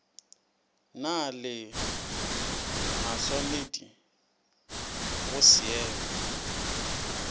na le mašwanedi go šeemo